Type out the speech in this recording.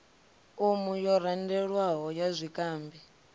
umu yo randelwaho ya zwikambi